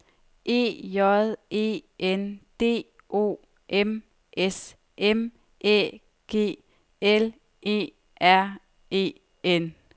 E J E N D O M S M Æ G L E R E N